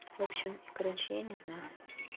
вообщем короче я не знаю